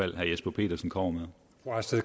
jesper petersen kommer